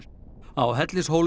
á